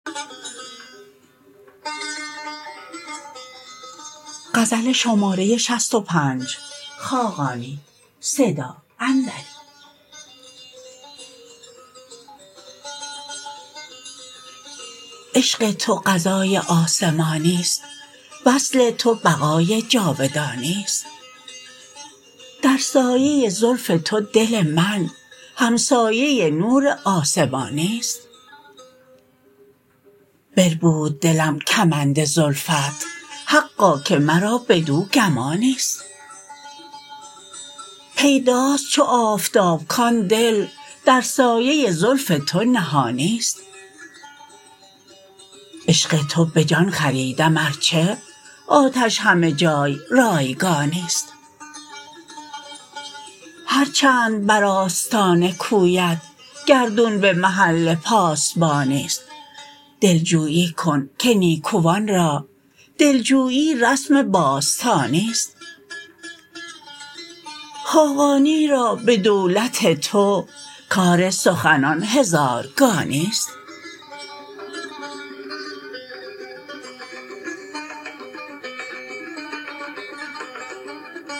عشق تو قضای آسمانی است وصل تو بقای جاودانی است در سایه زلف تو دل من همسایه نور آسمانی است بربود دلم کمند زلفت حقا که مرا بدو گمانی است پیداست چو آفتاب کان دل در سایه زلف تو نهانی است عشق تو به جان خریدم ارچه آتش همه جای رایگانی است هرچند بر آستان کویت گردون به محل پاسبانی است دلجویی کن که نیکوان را دلجویی رسم باستانی است خاقانی را به دولت تو کار سخنان هزارگانی است